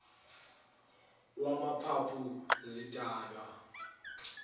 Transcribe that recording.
wamaphaphu zidalwa wugwayi